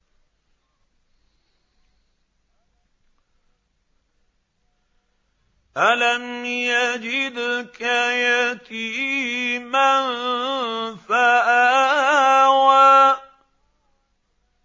أَلَمْ يَجِدْكَ يَتِيمًا فَآوَىٰ